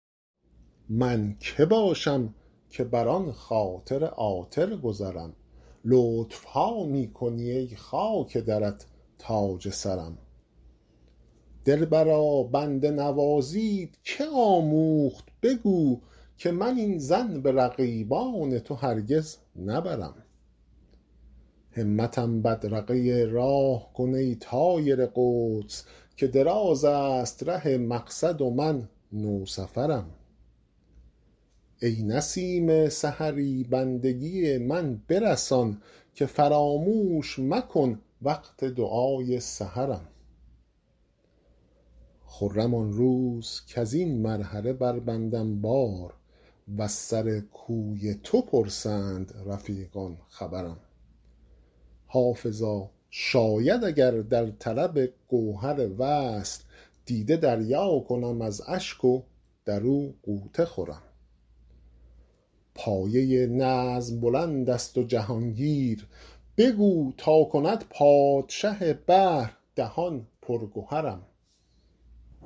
من که باشم که بر آن خاطر عاطر گذرم لطف ها می کنی ای خاک درت تاج سرم دلبرا بنده نوازیت که آموخت بگو که من این ظن به رقیبان تو هرگز نبرم همتم بدرقه راه کن ای طایر قدس که دراز است ره مقصد و من نوسفرم ای نسیم سحری بندگی من برسان که فراموش مکن وقت دعای سحرم خرم آن روز کز این مرحله بربندم بار و از سر کوی تو پرسند رفیقان خبرم حافظا شاید اگر در طلب گوهر وصل دیده دریا کنم از اشک و در او غوطه خورم پایه نظم بلند است و جهان گیر بگو تا کند پادشه بحر دهان پر گهرم